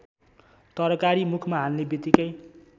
तरकारी मुखमा हाल्नेबित्तिकै